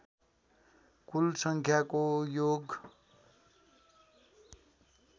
कुल सङ्ख्याको योग